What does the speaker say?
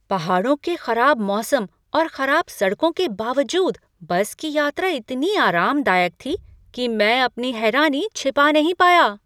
पहाड़ों के खराब मौसम और खराब सड़कों के बावजूद बस की यात्रा इतनी आरामदायक थी कि मैं अपनी हैरानी छिपा नहीं पाया।